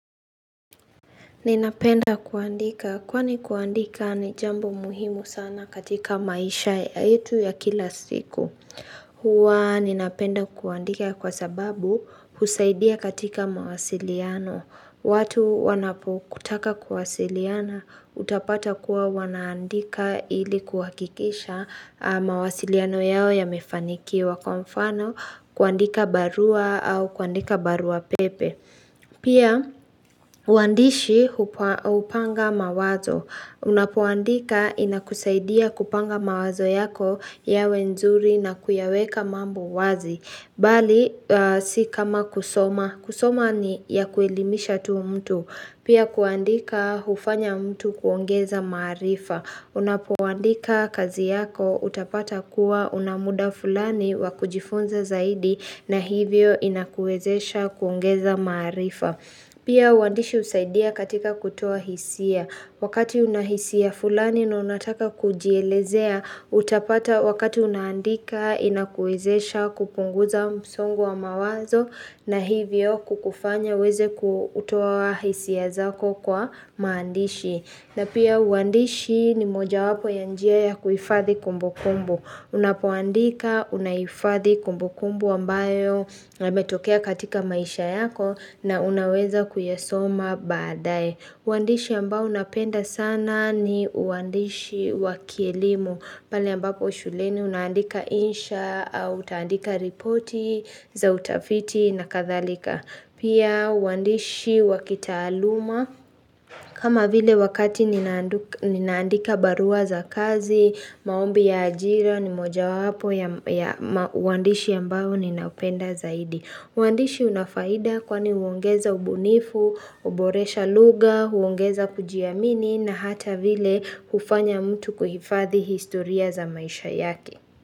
Ninapenda kuandika. Kwani kuandika ni jambo muhimu sana katika maisha ya yetu ya kila siku. Huwa ninapenda kuandika kwa sababu husaidia katika mawasiliano. Watu wanapokutaka kuwasiliana utapata kuwa wanaandika ili kuhakikisha mawasiliano yao yamefanikiwa kwa mfano kuandika barua au kuandika barua pepe. Pia, wandishi upanga mawazo. Unapoandika inakusaidia kupanga mawazo yako yawe nzuri na kuyaweka mambo wazi. Bali si kama kusoma. Kusoma ni ya kuelimisha tu mtu. Pia kuandika hufanya mtu kuongeza marifa. Unapoandika kazi yako utapata kuwa una muda fulani wa kujifunza zaidi na hivyo inakuwezesha kuongeza maarifa. Pia uandishi usaidia katika kutoa hisia. Wakati unahisia fulani na unataka kujielezea utapata wakati unandika inakuwezesha kupunguza msongo wa mawazo na hivyo kukufanya uweze kutoa hisia zako kwa maandishi. Na pia uandishi ni moja wapo ya njia ya kuhifadhi kumbukumbu. Unapoandika unaifadhi kumbukumbu ambayo yametokea katika maisha yako na unaweza kuyasoma baadae. Uandishi ambao unapenda sana ni uandishi wa kielimu. Palenambapo shuleni unaandika insha au utaandika ripoti za utafiti na kadhalika. Pia uandishi wa kitaaluma kama vile wakati ninaandika barua za kazi, maombi ya ajira ni moja wapo ya uandishi ambao ninaupenda zaidi. Uandishi una faida kwani uongeza ubunifu, uboresha lugha, uongeza kujiamini na hata vile hufanya mtu kuhifadhi historia za maisha yake.